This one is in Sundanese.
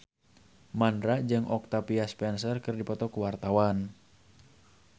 Mandra jeung Octavia Spencer keur dipoto ku wartawan